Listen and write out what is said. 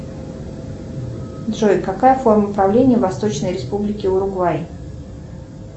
джой какая форма правления в восточной республике уругвай